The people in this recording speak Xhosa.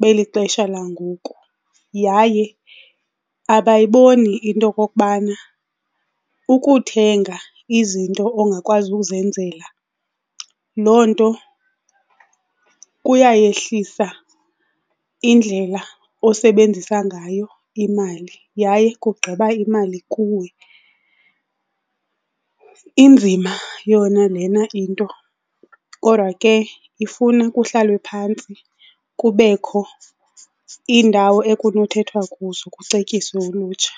beli xesha langoku yaye abayiboni into okokubana ukuthenga izinto ongakwazi uzenzela loo nto kuyayehlisa indlela osebenzisa ngayo imali yaye kugqiba imali kuwe. Inzima yona lena into kodwa ke ifuna kuhlalwe phantsi kubekho iindawo ekunothethwa kuzo kucetyiswe ulutsha.